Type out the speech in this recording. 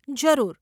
જરૂર.